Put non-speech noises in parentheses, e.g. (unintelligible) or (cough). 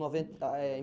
noventa (unintelligible)